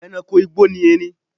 E̩ranko igbó ni erin